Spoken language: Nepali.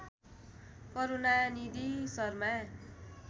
करूणानिधि शर्मा